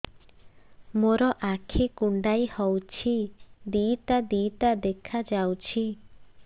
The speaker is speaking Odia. ମୋର ଆଖି କୁଣ୍ଡାଇ ହଉଛି ଦିଇଟା ଦିଇଟା ଦେଖା ଯାଉଛି